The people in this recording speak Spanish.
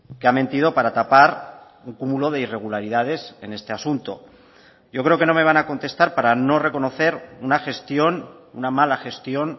que ha mentido para tapar un cúmulo de irregularidades en este asunto yo creo que no me van a contestar para no reconocer una gestión una mala gestión